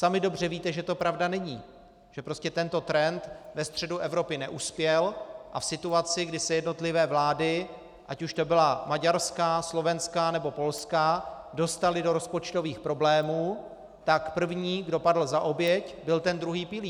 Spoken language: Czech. Sami dobře víte, že to pravda není, že prostě tento trend ve středu Evropy neuspěl, a v situaci, kdy se jednotlivé vlády, ať už to byla maďarská, slovenská, nebo polská, dostaly do rozpočtových problémů, tak první, kdo padl za oběť, byl ten druhý pilíř.